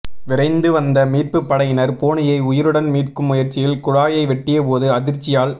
விரைந்து வந்த மீட்புப் படையினர் பூனையை உயிருடன் மீட்கும் முயற்சியில் குழாயை வெட்டியபோது அதிர்ச்சியால்